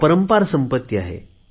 अपरंपार संपत्ती आहे